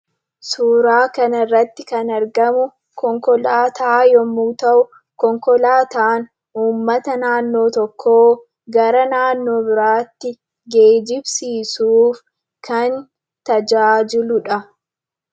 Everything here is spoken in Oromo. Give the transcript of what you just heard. Suuraa kanarratti kan argamu konkolaataa yommuu ta'u, konkolaataan uummata naannoo tokkoo gara naannoo biraatti geejjibsiisuuf kan tajaajiludha.